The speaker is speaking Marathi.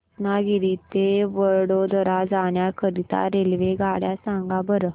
रत्नागिरी ते वडोदरा जाण्या करीता रेल्वेगाड्या सांगा बरं